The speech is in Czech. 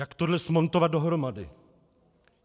Jak tohle smontovat dohromady?